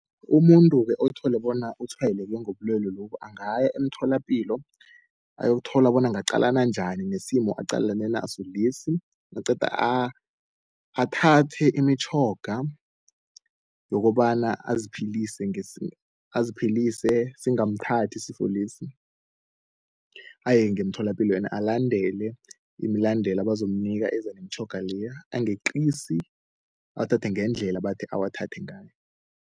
Umuntu-ke othole bona utshwayeleke ngobulwele lobu angaya emtholapilo ayokuthola bona angaqalana njani nesimo aqalane naso lesi. Naqeda athathe imitjhoga yokobana aziphilise aziphilise singamthathi isifo lesi, aye ngemtholapilo ende alandele imilandela abazomnika eza nemitjhoga leya angeqisi, awathathe ngendlela abathe awathathe ngayo.